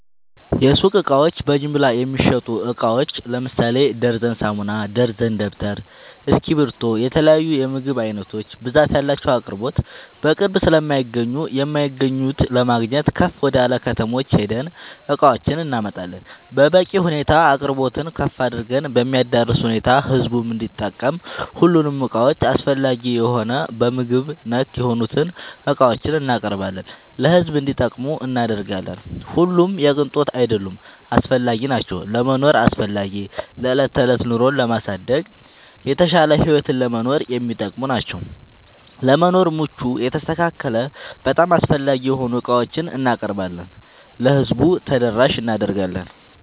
የሱቅ እቃዎች በጅምላ የሚሸጡ እቃዎች ለምሳሌ ደርዘን ሳሙና፣ ደርዘን ደብተር እና እስኪብርቶ የተለያዬ የምግብ አይነቶች ብዛት ያላቸው አቅርቦት በቅርብ ስለማይገኙ የማይገኙት ለማግኘት ከፍ ወደላ ከተሞች ሄደን እቃዎችን እናመጣለን በበቂ ሁኔታ አቅርቦቱን ከፍ አድርገን በሚያዳርስ ሁኔታ ህዝቡም እንዲጠቀም ሁሉንም እቃዎች አስፈላጊ የሆኑ በምግብ ነክ የሆኑትን እቃዎችን እናቀርባለን ለሕዝብ እንዲጠቀሙ እናደርጋለን። ሁሉም የቅንጦት አይደሉም አስፈላጊናቸው ለመኖር አስፈላጊ ለዕለት ተዕለት ኑሮን ለማሳደግ የተሻለ ህይወት ለመኖር የሚጠቅሙ ናቸው። ለመኖር ምቹ የተስተካከለ በጣም አስፈላጊ የሆኑ ዕቃዎችን እናቀርባለን ለህዝቡ ተደራሽ እናደርጋለን።…ተጨማሪ ይመልከቱ